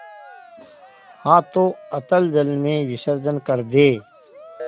हाथों अतल जल में विसर्जन कर दे